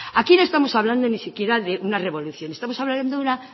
aquí no estamos hablando ni siquiera de una revolución estamos hablando de una